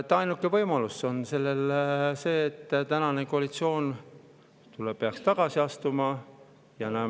Ainuke võimalus on see, et tänane koalitsioon peaks tagasi astuma.